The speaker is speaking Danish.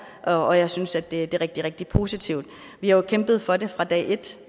og jeg synes at det er rigtig rigtig positivt vi har jo kæmpet for det fra dag et